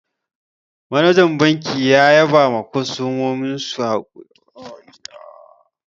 Manajan banki ya ba kostomominsu hakuri sakamakon kwashe musu kuɗi da akayi.